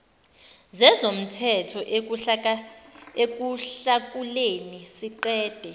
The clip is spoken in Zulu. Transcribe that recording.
zezomthetho ekuhlakuleni siqede